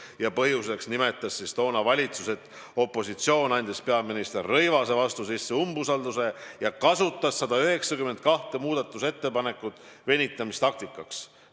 Ja põhjuseks tõi valitsus, et opositsioon andis peaminister Rõivase vastu sisse umbusaldusavalduse ja kasutas 192 muudatusettepanekut venitamistaktikaks.